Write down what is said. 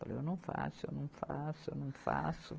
Falei, eu não faço, eu não faço, eu não faço.